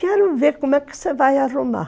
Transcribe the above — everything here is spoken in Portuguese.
Quero ver como é que você vai arrumar.